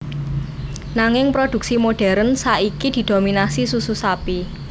Nanging produksi modèrn saiki didominasi susu sapi